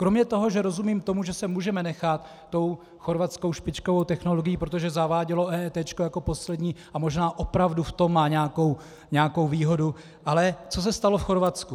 Kromě toho, že rozumím tomu, že se můžeme nechat tou chorvatskou špičkovou technologií, protože zavádělo EET jako poslední, a možná opravdu v tom má nějakou výhodu - ale co se stalo v Chorvatsku?